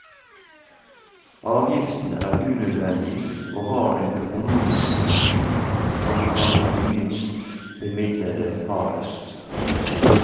Avgiften er unødvendig, og har en økonomisk profil som rammer de minst bemidlede hardest.